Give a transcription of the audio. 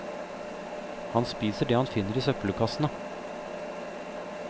Han spiser det han finner i søppelkassene.